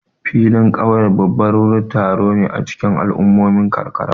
Filin ƙauyen babban wurin taro ne a cikin al'ummomin karkara.